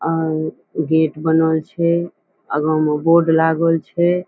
और गेट बनल छे आगे में बोर्ड लागल छे।